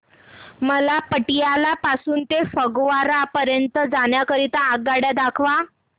मला पटियाला पासून ते फगवारा पर्यंत जाण्या करीता आगगाड्या दाखवा